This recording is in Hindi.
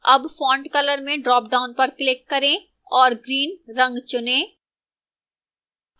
अब font color में ड्रापडाउन पर click करें और green रंग चुनें